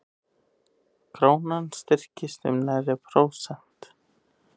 Krónan styrktist um nærri prósent